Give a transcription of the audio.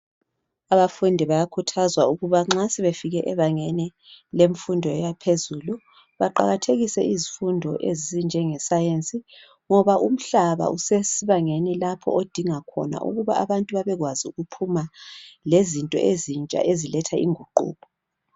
Abafundi bayakhuthazwa ukabana nxa sebefike ebangeni lemfundo yaphezulu baqakathekise izifundo ezinjengeScience ngoba umhlaba esesibangeni lapha edinga khona ukuba abantu bebekwazi ukuphuma lezinto ezintsha eziletha inguquko